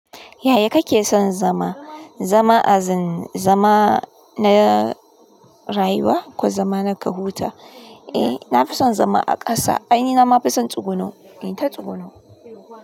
Yaya kake son zama? Zama azin, zama na rayuwa ko zama na ka huta? Eh, na fi son zama a ƙasa. Anyi, nama fi son tsuguno, inta tsuguno.